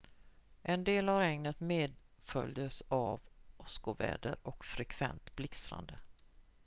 en del av regnet medföljdes av åskoväder och frekvent blixtrande